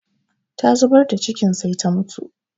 Ta zubar da cikin sai ta mutu